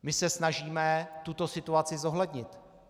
My se snažíme tuto situaci zohlednit.